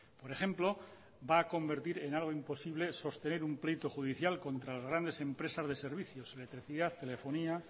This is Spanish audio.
por ejemplo va a convertir en algo imposible sostener un pleito judicial contra las grandes empresas de servicios electricidad telefonía